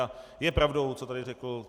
A je pravdou, co tady řekl.